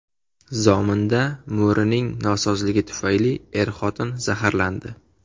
Zominda mo‘rining nosozligi tufayli er-xotin zaharlandi.